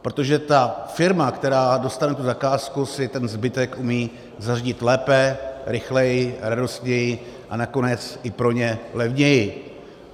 Protože ta firma, která dostane tu zakázku, si ten zbytek umí zařídit lépe, rychleji, radostněji a nakonec i pro ně levněji.